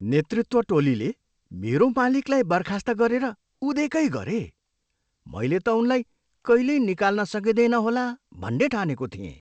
नेतृत्व टोलीले मेरो मालिकलाई बर्खास्त गरेर उदेकै गरे। मैले त उनलाई कहिल्यै निकाल्न सकिँदैन होला भन्ने ठानेको थिएँ।